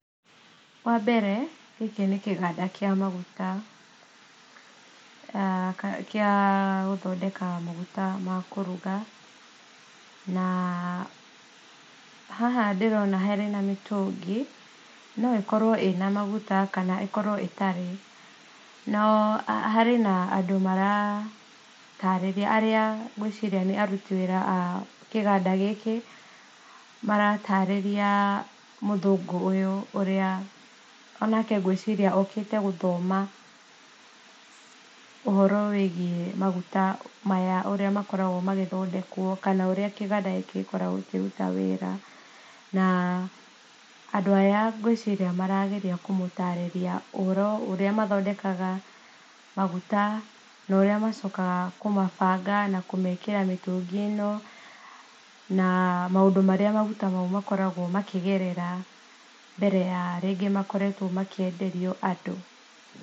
Wa mbere gĩkĩ nĩ kĩganda gĩa gũthondeka maguta ma kũruga na haha ndĩrona harĩ mĩtũngi no ĩkorwo ĩrĩ na maguta kana ĩkorwo ĩtarĩ no harĩ na arĩa maratarĩria ngwĩciria nĩ aruti wĩra a kĩganda gĩkĩ maratarĩria mũthũngũ ũyũ ũrĩa onake ngwĩciria okĩte gũthoma ũhoro wĩgie maguta maya, ũrĩa makoragwo magĩthondekwo kana ũrĩa kĩganda gĩkĩ gĩkĩrutaga wĩra, na andũ aya ngwĩciria marageria kũmũtarĩria ũrĩa mathondekaga maguta na ũrĩa macokaga kũmabanga na kũmekĩra mĩtũngi-ĩno na maũndũ marĩa makoragwo makĩgerera rĩngĩ mbere ya makoretwo makĩenderio andũ.